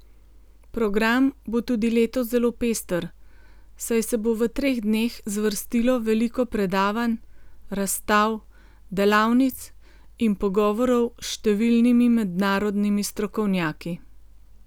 Program bo tudi letos zelo pester, saj se bo v treh dneh zvrstilo veliko predavanj, razstav, delavnic in pogovorov s številnimi mednarodnimi strokovnjaki.